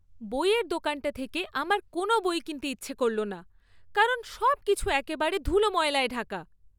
বইয়ের দোকানটা থেকে আমার কোনও বই কিনতে ইচ্ছা করল না কারণ সবকিছু একেবারে ধুলো ময়লায় ঢাকা!